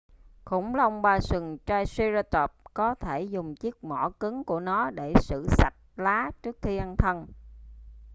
khủng long ba sừng triceratop có thể dùng chiếc mỏ cứng của nó để xử sạch lá trước khi ăn thân